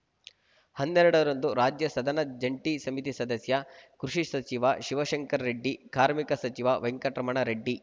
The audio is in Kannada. ಹನ್ನೆರಡರಂದು ರಾಜ್ಯ ಸದನ ಜಂಟಿ ಸಮಿತಿ ಸದಸ್ಯ ಕೃಷಿ ಸಚಿವ ಶಿವಶಂಕರರೆಡ್ಡಿ ಕಾರ್ಮಿಕ ಸಚಿವ ವೆಂಕಟರಮಣರೆಡ್ಡಿ